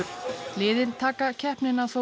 liðin taka keppnina þó